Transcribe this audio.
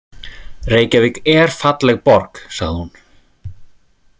Reykjavík er falleg borg, sagði hún.